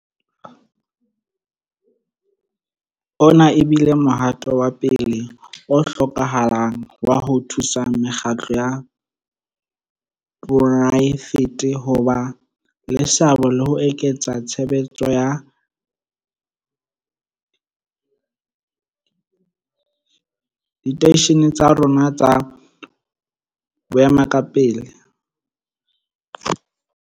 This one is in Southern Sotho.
Ona e bile mohato wa pele o hlokahalang wa ho thusa mekgatlo ya poraefete ho ba le seabo le ho eketsa tshebetso ya diteishene tsa rona tsa boemakepe.